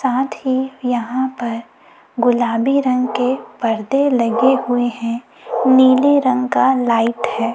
साथ ही यहां पर गुलाबी रंग के परदे लगे हुए हैं नीले रंग का लाइट है।